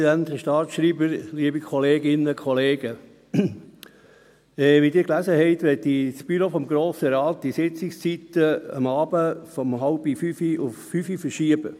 Wie Sie gelesen haben, möchte das Büro des Grossen Rates die Sitzungszeiten abends von 16.30 Uhr auf 17 Uhr verschieben.